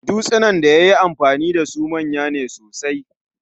Dutsunan daya yi amfani dasu manya ne sosai